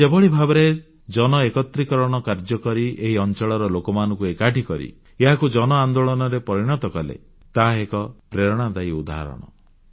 ସେ ଯେଭଳି ଭାବରେ ଜନଏକତ୍ରୀକରଣ କାର୍ଯ୍ୟକରି ଏହି ଅଂଚଳର ଲୋକମାନଙ୍କୁ ଏକାଠି କରି ଏହାକୁ ଜନ ଆନ୍ଦୋଳନରେ ପରିଣତ କଲେ ତାହା ଏକ ପ୍ରେରଣାଦାୟୀ ଉଦାହରଣ